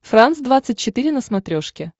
франс двадцать четыре на смотрешке